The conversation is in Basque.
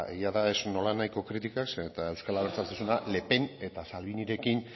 egia da ez nolanahiko kritikak zeren eta euskal abertzaletasuna le pen eta salvinirekin